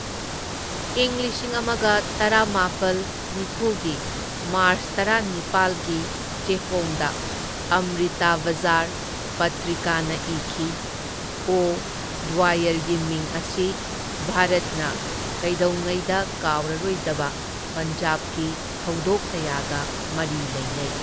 ꯢꯪ ꯂꯤꯁꯤꯡ ꯑꯃꯒ ꯇꯔꯥꯃꯥꯄꯜ ꯅꯤꯐꯨ ꯒꯤ ꯃꯥꯔꯁ ꯇꯔꯥꯅꯤꯄꯥꯜ ꯒꯤ ꯆꯦꯐꯣꯡꯗ ꯑꯝꯔꯤꯇ ꯕꯖꯥꯔ ꯄꯠꯇ꯭ꯔꯤꯀꯥꯅ ꯏꯈꯤ, ꯑꯣ ꯗ꯭ꯋꯥꯌꯔꯒꯤ ꯃꯤꯡ ꯑꯁꯤ ꯚꯥꯔꯠꯅ ꯀꯩꯗꯧꯉꯩꯗ ꯀꯥꯎꯔꯔꯣꯏꯗꯕ ꯄꯟꯖꯥꯕꯀꯤ ꯊꯧꯗꯣꯛ ꯀꯌꯥꯒ ꯃꯔꯤ ꯂꯩꯅꯩ꯫